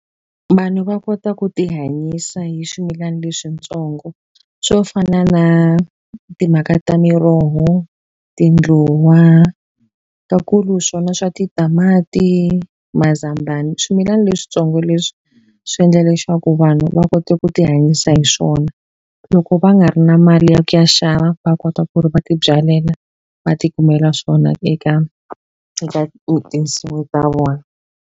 Vanhu va kota ku ti hanyisa hi swimilani leswitsongo swo fana na timhaka ta miroho, tindluwa, ta kulu swona swa titamati, mazambani, swimilani. Leswitsongo leswi swi endla leswaku vanhu va kota ku ti hanyisa hi swona, loko va nga ri na mali ya ku ya xava va kota ku ri va ti byalela va ti kumela swona eka eka tinsimu ta vona.